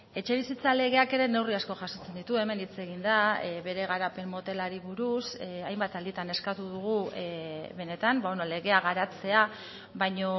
etxebizitza legeak ere neurri asko jasotzen ditu hemen hitz egin da bere garapen motelari buruz hainbat alditan eskatu dugu benetan legea garatzea baina